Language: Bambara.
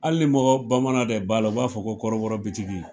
Hali mɔgɔ bamanaw de b'a la, u b'a fɔ ko kɔrɔbɔrɔ bitigi.